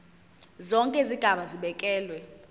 zonke izigaba zibekelwe